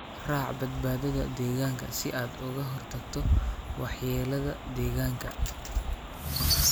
raac badbaadada deegaanka si aad uga hortagto waxyeelada deegaanka.